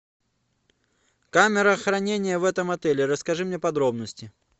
камера хранения в этом отеле расскажи мне подробности